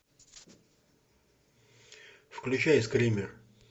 включай скример